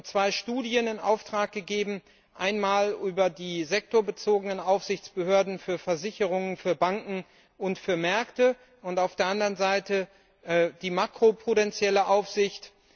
Wir haben zwei Studien in Auftrag gegeben, einmal über die sektorbezogenen Aufsichtsbehörden für Versicherungen, für Banken und für Märkte, und auf der anderen Seite über die makroprudenzielle Aufsicht.